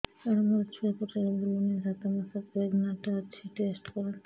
ସାର ମୋର ଛୁଆ ପେଟରେ ବୁଲୁନି ସାତ ମାସ ପ୍ରେଗନାଂଟ ଅଛି ଟେଷ୍ଟ କରନ୍ତୁ